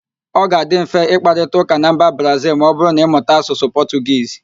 Ọ ga-adị mfe ịkparịtaụ́ká na mba Brazịl ma ọbụrụ na-ịmụta Asụsụ Pọtụgiz